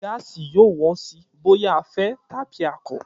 Gáàsì yóò wọ́n sí bóyá a fẹ́ tàbí a kọ̀